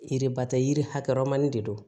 Yiriba tɛ yiri hakɛ ɔrɔni de don